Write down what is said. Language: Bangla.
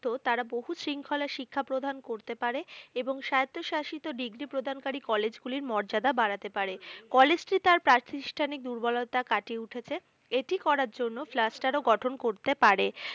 তারা বহু শৃঙ্খলা শিক্ষা প্রদান করতে পারে, এবং সাহিত্য শাসিত degree প্রদানকারী কলেজগুলির মর্যাদা বাড়াতে পারে, কলেজটি তার প্রাতিষ্ঠানিক দুর্বলতা কাটিয়ে উঠেছে। এটি করার জন্য flaster ও গঠন করতে পারে,